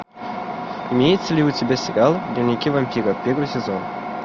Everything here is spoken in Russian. имеется ли у тебя сериал дневники вампира первый сезон